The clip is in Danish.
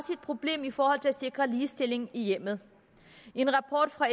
problem i forhold til at sikre ligestilling i hjemmet en rapport fra